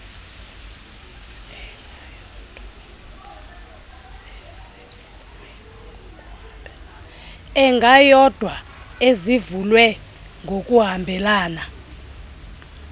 engayodwa ezivulwe ngokuhambelana